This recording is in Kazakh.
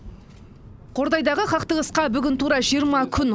қордайдағы қақтығысқа бүгін тура жиырма күн